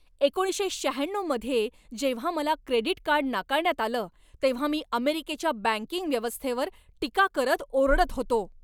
एकोणीसशे शहाण्णऊ मध्ये जेव्हा मला क्रेडिट कार्ड नाकारण्यात आलं तेव्हा मी अमेरिकेच्या बँकिंग व्यवस्थेवर टीका करत ओरडत होतो.